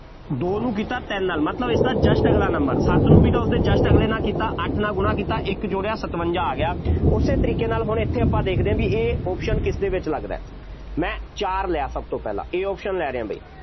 ਦੋ ਨੂੰ ਕੀਤਾ ਤਿੰਨ ਨਾਲ, ਮਤਲਬ ਇਸਦਾ just ਅਗਲਾ number ਸੱਤ ਨੂੰ ਵੀ ਤਾਂ ਉਸਦੇ just ਅਗਲੇ ਨਾਲ ਕੀਤਾ, ਅੱਠ ਨਾਲ ਗੁਣਾ ਕੀਤਾ ਇੱਕ ਜੋੜਿਆ ਸਤਵੰਂਜ਼ਾ ਆ ਗਿਆ, ਉਸੇ ਤਰੀਕੇ ਨਾਲ ਹੁਣ ਇੱਥੇ ਆਪਾਂ ਦੇਖਦੇ ਹਾਂ ਬਈ ਇਹ option ਕਿਸਦੇ ਵਿੱਚ ਲੱਗਦਾ, ਮੈਂ ਚਾਰ ਲਿਆ ਸਭ ਤੋਂ ਪਹਿਲਾਂ A option ਲੈ ਰਿਹਾ, ਬਈ,